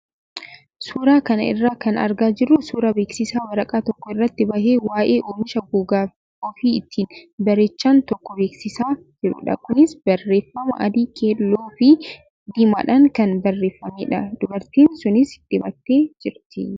Suuraa kana irraa kan argaa jirru suuraa beeksisa waraqaa tokko irratti bahee waayee oomisha gogaa ofii ittiin bareechan tokko beeksisaa jirudha. Kunis barreeffama adii keelloo fi diimaadhaan kan barreeffamedha. Dubartiin sunis dibattee jirti.